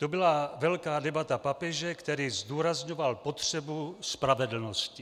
To byla velká debata papeže, který zdůrazňoval potřebu spravedlnosti.